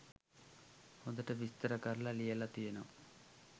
හොඳට විස්තර කරලා ලියල තියෙනවා